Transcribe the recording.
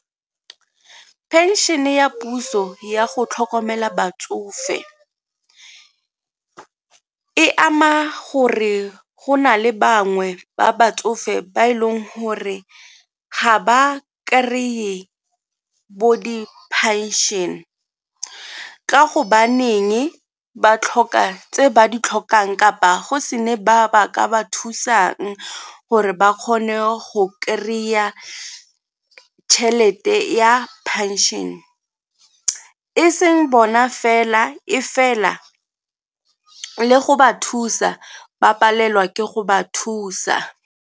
Pension-e ya puso ya go tlhokomela batsofe e ama gore go na le bangwe ba batsofe ba e leng gore ga ba kry-e bo diphenšene ka gobaneng ba tlhoka tse ba di tlhokang kapa go se ne ba ba ka ba thusang gore ba kgone go kry-a tšhelete ya pension, e seng bona fela e fela le go ba thusa ba palelwa ke go ba thusa.